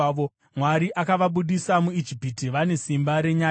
Mwari akavabudisa muIjipiti; vane simba renyati.